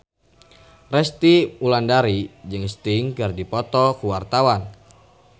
Resty Wulandari jeung Sting keur dipoto ku wartawan